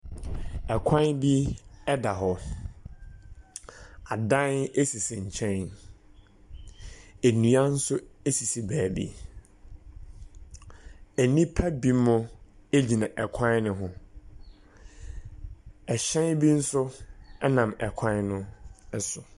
Ɛkwan bi ɛda hɔ, adan esisi nkyɛn, ennua nso esisi baabi. Enipa bimo egyina ɛkwan ne ho, ɛhyɛn bi nso ɛnam ɛkwan no ɛso.